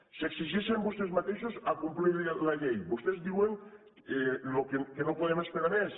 s’exigeixen vostès mateixos complir la llei vostès diuen que no podem esperar més